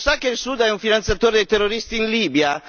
Lo sa che il Sudan è un finanziatore dei terroristi in Libia?